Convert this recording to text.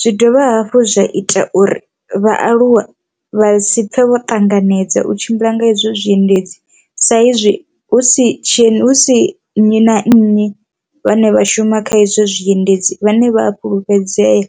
zwi dovha hafhu zwa ita uri vhaaluwe vha si pfhe vho ṱanganedza u tshimbila nga izwo zwiendedzi sa izwi hu si tshi husi nnyi na nnyi vhane vha shuma kha izwo zwiendedzi vhane vha fhulufhedzea.